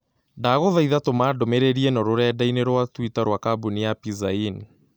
Ndagũthaitha tũma ndũmīrīri īno rũrenda-inī rũa tũita rũa kambũni ya Pizza Inn